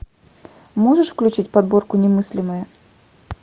можешь включить подборку немыслимое